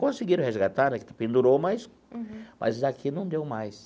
Conseguiram resgatar né, que pendurou, mas mas daqui não deu mais.